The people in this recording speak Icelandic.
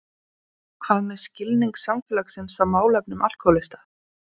Björn: Hvað með skilning samfélagsins á málefnum alkóhólista?